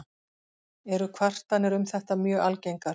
Eru kvartanir um þetta mjög algengar.